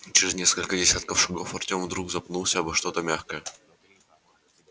через несколько десятков шагов артем вдруг запнулся обо что-то мягкое